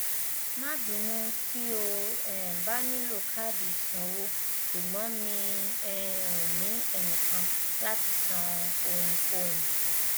má bínú tí o um bá nílò káàdì ìsanwó ṣùgbọn mi um ò ní ẹnìkan láti san ohunkóhun